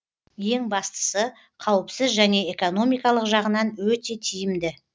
ең бастысы қауіпсіз және экономикалық жағынан өте тиімді